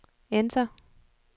enter